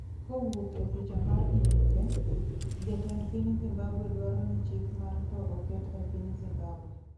kowuok e picha mar EPA, Jatend piny Zimbabwe dwaro ni chik mar tho oket e piny Zimbabwe